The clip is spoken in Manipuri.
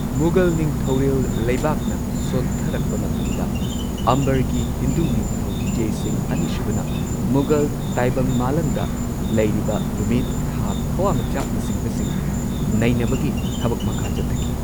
ꯃꯨꯘꯜ ꯅꯤꯡꯊꯧꯔꯦꯜ ꯂꯩꯕꯥꯛꯅ ꯁꯣꯟꯊꯔꯛꯄ ꯃꯇꯝꯗ ꯑꯝꯕꯔꯒꯤ ꯍꯤꯟꯗꯨ ꯅꯤꯡꯊꯧ ꯖꯦ ꯁꯤꯡꯍ ꯑꯅꯤꯁꯨꯕꯅ ꯃꯨꯘꯜ ꯇꯥꯏꯕꯪ ꯃꯥꯂꯪꯗ ꯂꯩꯔꯤꯕ ꯅꯨꯃꯤꯠ, ꯊꯥ, ꯊꯋꯥꯟꯃꯤꯆꯥꯛꯅꯆꯤꯡꯕꯁꯤꯡ ꯅꯩꯅꯕꯒꯤ ꯊꯕꯛ ꯃꯈꯥ ꯆꯠꯊꯈꯤ꯫